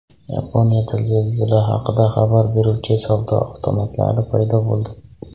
Yaponiyada zilzila haqida xabar beruvchi savdo avtomatlari paydo bo‘ldi.